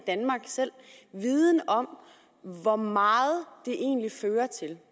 selv i danmark viden om hvor meget det egentlig fører til at